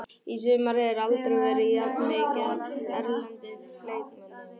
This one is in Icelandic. Í sumar hefur aldrei verið jafn mikið af erlendum leikmönnum.